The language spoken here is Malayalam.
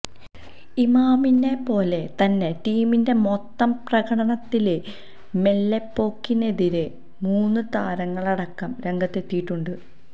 ഇമാമിനെ പോലെ തന്നെ ടീമിന്റെ മൊത്തം പ്രകടനത്തിലെ മെല്ലെപ്പോക്കിനെതിരെ മുന് താരങ്ങളടക്കം രംഗത്തെത്തിയിട്ടുണ്ട്